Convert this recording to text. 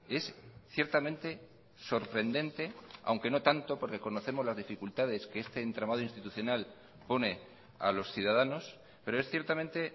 es ciertamente sorprendente aunque no tanto porque conocemos las dificultades que este entramado institucional pone a los ciudadanos pero es ciertamente